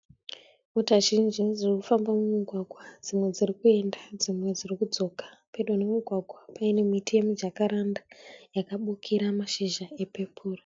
Mota zhinji dzirikufamba mumugwaga. Dzimwe dziri kuenda dzimwe dziri kudzoka. Pedo nemugwagwa paine miti yemijakaranda yakabukira mashizha epepuru.